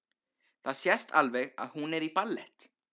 Það sést alveg að hún er í ballett.